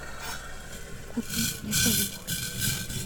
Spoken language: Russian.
купи мне помидоры